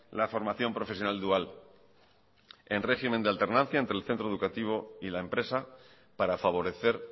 la formación profesional dual en régimen de alternancia entre el centro educativo y la empresa para favorecer